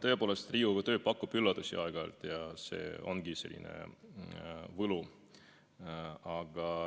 Tõepoolest, Riigikogu töö pakub aeg-ajalt üllatusi ja see ongi selline asja võlu.